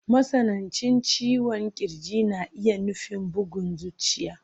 Matsanancin ciwon ƙirji na iya nufin bugun zuciya.